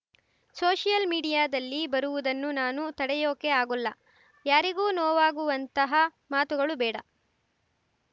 social ಮೀಡಿಯಾದಲ್ಲಿ ಬರುವುದನ್ನು ನಾನು ತಡೆಯೋಕೆ ಆಗೋಲ್ಲ ಯಾರಿಗೂ ನೋವಾಗುವಂತಹ ಮಾತುಗಳು ಬೇಡ